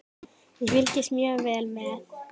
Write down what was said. Ég fylgist mjög vel með.